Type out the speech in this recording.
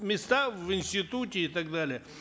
места в институте и так далее